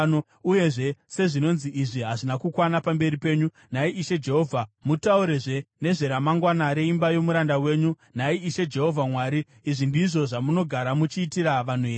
Uyezve sezvinonzi izvi hazvina kukwana pamberi penyu, nhai Ishe Jehovha, mataurazve nezveramangwana reimba yomuranda wenyu. Nhai Ishe Jehovha Mwari, izvi ndizvo zvamunogara muchiitira vanhu here?